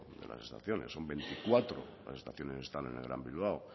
de las estaciones son veinticuatro las estaciones que están en el gran bilbao